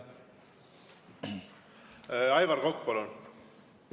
Aivar Kokk, palun!